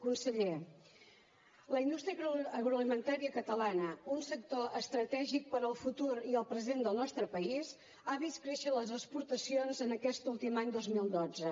conseller la indústria agroalimentària catalana un sector estratègic per al futur i el present del nostre país ha vist créixer les exportacions en aquest últim any dos mil dotze